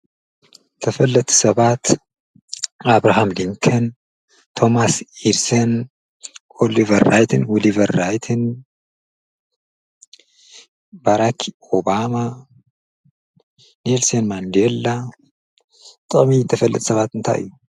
ተፈለጥቲ ሰባት ኣብርሃም ኒልከን ፡ቶማስ ኢድሰን ፡ኦሊቨር ራይትን ዉሊቨር ራይትን ፡ባራክ ኦባማ ፡ኔልሶን ማንዴላ ጥቅሚ ተፈለጥቲ ሰባት እንታይ እዩ?